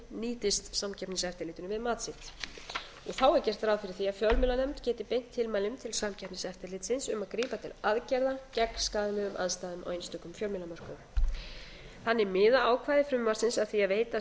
nýtist samkeppniseftirlitinu við mat sitt þá er gert ráð fyrir því að fjölmiðlanefnd geti beint tilmælum til samkeppniseftirlitsins um að grípa til aðgerða gegn skaðlegum aðstæðum á einstökum fjölmiðlamörkuðum þannig miða ákvæði frumvarpsins að því að veita